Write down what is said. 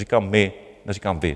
Říkám my, neříkám vy.